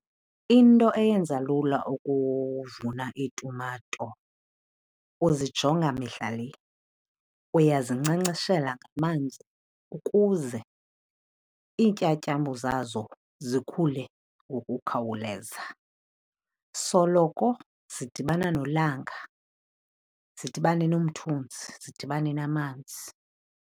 Into eyenza lula ukuvuna iitumato uzijonga mihla le. Uyazinkcenkceshela ngamanzi ukuze iintyatyambo zazo zikhule ngokukhawuleza. Soloko zidibana nelanga, zidibane nomthunzi zidibane namanzi.